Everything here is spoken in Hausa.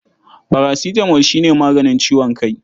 Parasitamol shi ne maganin ciwon kai.